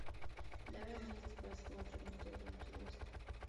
давай вместе посмотрим мне тоже интересно